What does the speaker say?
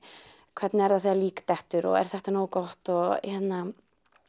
hvernig er það þegar lík dettur og er þetta nógu gott og hérna